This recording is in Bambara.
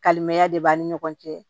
Kalimanya de b'a ni ɲɔgɔn cɛ